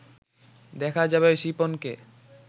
দেখা যাবে শিপনকে